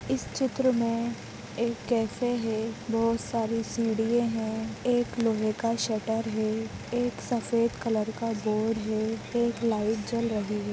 इस चित्र में एक कैफ़े हे बहोत सारी सीढ़ियें हे एक लोहे का शटर हे एक सफेद कलर का बोर्ड हे एक लाइट जल रही हे।